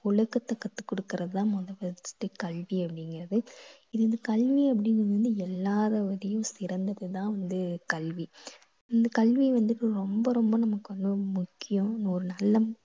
ஒழுக்கத்தை கத்து குடுக்கறது தான் first கல்வி அப்படீங்குறது. இது வந்து கல்வி அப்படீங்கறது வந்து எல்லாரோடையும் சிறந்தது தான் வந்து கல்வி. இந்த கல்வி வந்து இப்போ ரொம்ப ரொம்ப நமக்கு வந்து முக்கியம். ஒரு நல்ல